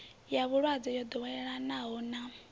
ya vhulwadze yo ḓoweleaho na